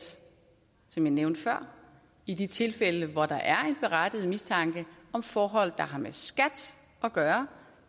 som jeg nævnte før i de tilfælde hvor der er en berettiget mistanke om forhold der har med skat at gøre